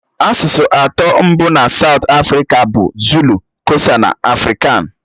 Asụsụ atọ mbụ na Saụt Afrịka bụ Zulu, Kosa na afrikan.